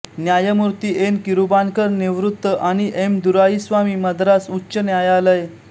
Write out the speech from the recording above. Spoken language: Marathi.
न्यायमूर्ती एन किरुबाकरन निवृत्त आणि एम दुराईस्वामी मद्रास उच्च न्यायालय